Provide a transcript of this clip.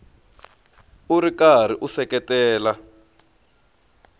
u ri karhi u seketela